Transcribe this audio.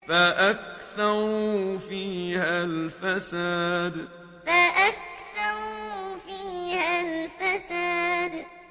فَأَكْثَرُوا فِيهَا الْفَسَادَ فَأَكْثَرُوا فِيهَا الْفَسَادَ